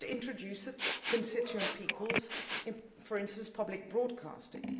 It introduces constituent peoples in, for instance, public broadcasting.